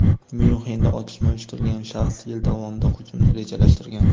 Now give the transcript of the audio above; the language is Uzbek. Myunxenda otishma uyushtirgan shaxs yil davomida hujumni rejalashtirgan.